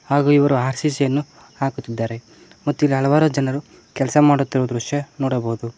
ಹಾಗೂ ಇವರು ಆರ್_ಸಿ_ಸಿ ಯನ್ನು ಹಾಕುತ್ತಿದ್ದಾರೆ ಮತ್ತು ಇಲ್ಲಿ ಹಲವಾರು ಜನರು ಕೆಲ್ಸ ಮಾಡುತ್ತಿರುವ ದೃಶ್ಯ ನೋಡಬೋದು.